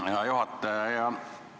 Hea juhataja!